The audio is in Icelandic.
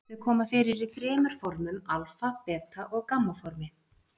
Þau koma fyrir í þremur formum- alfa-, beta- og gamma-formi.